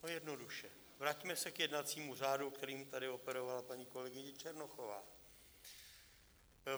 No, jednoduše, vraťme se k jednacímu řádu, kterým tady operovala paní kolegyně Černochová.